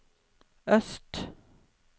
øst